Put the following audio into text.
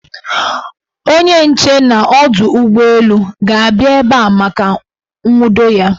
Onye nche n' ọdọụgbọelu ga-abịa ebe a maka nwudo ya.